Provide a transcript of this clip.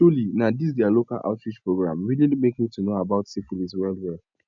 truely na this their local outreach program really make me to know about syphilis well well